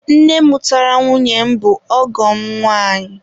Nne mụtara nwunye m bụ ọgọ m nwaanyị.